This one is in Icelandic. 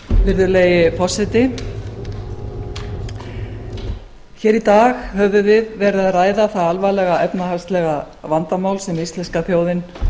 virðulegi forseti hér í dag höfum við verið að ræða það alvarlega efnahagslega vandamál sem íslenska þjóðin